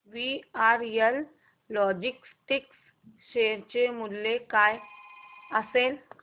VRL Logistics share चे मूल्य काय असेल